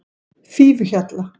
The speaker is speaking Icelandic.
Fífuhjalla